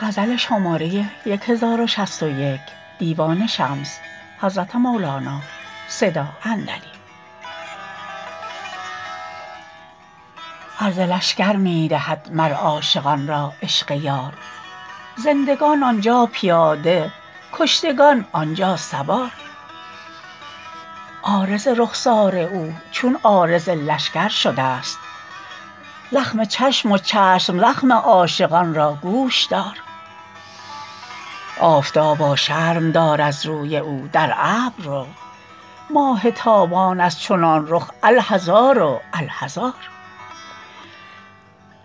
عرض لشکر می دهد مر عاشقان را عشق یار زندگان آن جا پیاده کشتگان آن جا سوار عارض رخسار او چون عارض لشکر شدست زخم چشم و چشم زخم عاشقان را گوش دار آفتابا شرم دار از روی او در ابر رو ماه تابان از چنان رخ الحذار و الحذار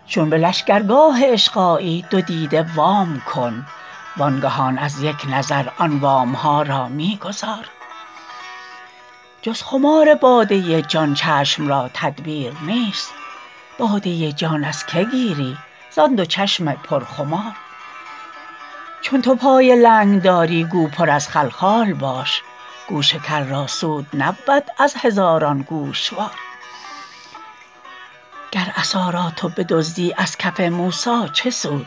چون به لشکرگاه عشق آیی دو دیده وام کن وانگهان از یک نظر آن وام ها را می گزار جز خمار باده جان چشم را تدبیر نیست باده جان از که گیری زان دو چشم پرخمار چون تو پای لنگ داری گو پر از خلخال باش گوش کر را سود نبود از هزاران گوشوار گر عصا را تو بدزدی از کف موسی چه سود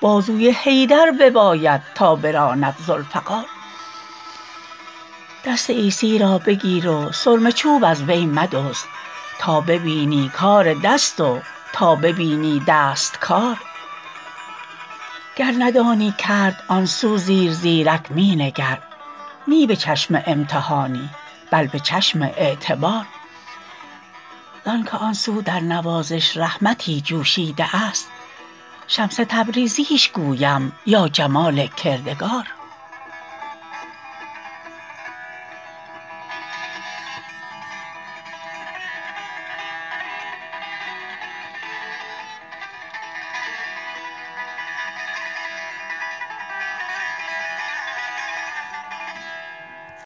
بازوی حیدر بباید تا براند ذوالفقار دست عیسی را بگیر و سرمه چوب از وی مدزد تا ببینی کار دست و تا ببینی دست کار گر ندانی کرد آن سو زیرزیرک می نگر نی به چشم امتحانی بل به چشم اعتبار زانک آن سو در نوازش رحمتی جوشیده است شمس تبریزیش گویم یا جمال کردگار